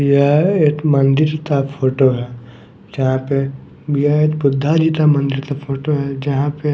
यह एक मंदिर ता फोटो है जहाँ पे यह एक बुद्धा जी ता मंदिर ता फोटो है जहाँ पे --